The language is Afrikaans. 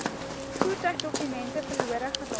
voertuigdokumente verlore geraak